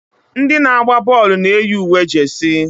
ndị na-agba bọọlụ na-eyi uwe jesi